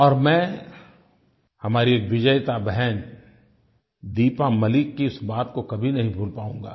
और मैं हमारी विजेता बहन दीपा मलिक की इस बात को कभी नहीं भूल पाऊंगा